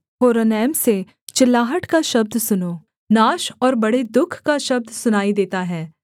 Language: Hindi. होरोनैम से चिल्लाहट का शब्द सुनो नाश और बड़े दुःख का शब्द सुनाई देता है